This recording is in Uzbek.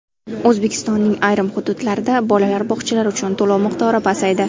O‘zbekistonning ayrim hududlarida bolalar bog‘chalari uchun to‘lov miqdori pasaydi.